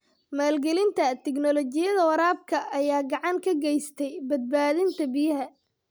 Maalgelinta tignoolajiyada waraabka ayaa gacan ka geysatay badbaadinta biyaha.